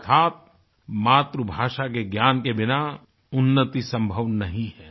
अर्थात मातृभाषा के ज्ञान के बिना उन्नति संभव नहीं है